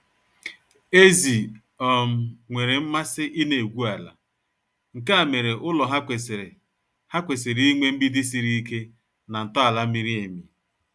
Ezi um nwere mmasị ịna-egwu ala, nkea mere ụlọ ha kwesịrị ha kwesịrị inwe mgbidi siri ike na ntọala miri emi